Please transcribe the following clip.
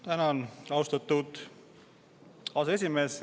Tänan, austatud aseesimees!